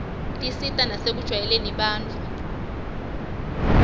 tisita nasekujwayeleni abantfu